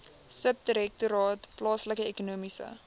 subdirektoraat plaaslike ekonomiese